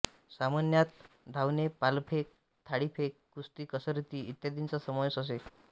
सामन्यात धावने भालाफेक थाळीफेक कुस्ती कसरती इत्यादींचा समावेश असे